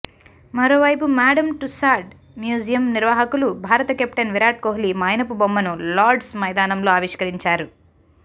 మరోవైపు Madame Tussaud museum నిర్వాహకులు భారత కెప్టెన్ విరాట్ కోహ్లి మైనపు బొమ్మను లార్డ్స్ మైదానంలో ఆవిష్కరించారు